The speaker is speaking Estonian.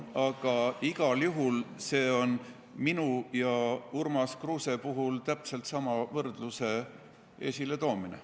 Aga igal juhul on see minu ja Urmas Kruuse puhul täpse võrdluse esiletoomine.